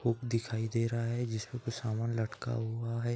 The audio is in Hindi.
हुक दिखाई दे रहा है जिस पर कुछ सामान लटका हुआ है|